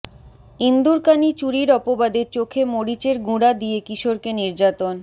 ইন্দুরকানী চুরির অপবাদে চোখে মরিচের গুঁড়া দিয়ে কিশোরকে নির্যাতন